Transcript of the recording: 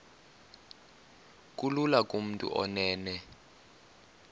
kulula kumntu onen